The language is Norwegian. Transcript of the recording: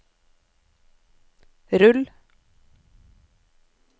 rull